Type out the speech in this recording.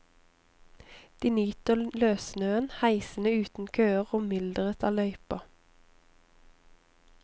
De nyter løssnøen, heisene uten køer og mylderet av løyper.